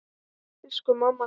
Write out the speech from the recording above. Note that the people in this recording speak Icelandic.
Elsku mamma Gurra.